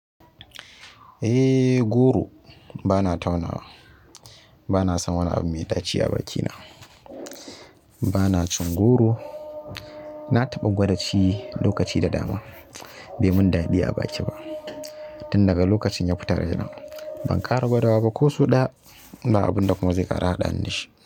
Eh goro bana taunawa bana san wani abu mai ɗaci a bakina. Bana cin goro, na taɓa gwada ci lokaci da dama bai mun daɗi a baki ba. Tun daga lokacin ya fita raina ban ƙara gwadawa ba ko so ɗaya. Ba abunda kuma zai ƙara haɗa ni da shi.